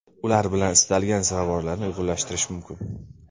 Ular bilan istalgan ziravorlarni uyg‘unlashtirish mumkin.